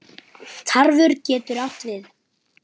Tarfur getur átt við